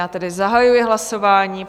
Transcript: Já tedy zahajuji hlasování.